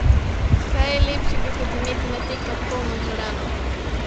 Kaj je lepšega, kot imeti na tekmah polno dvorano?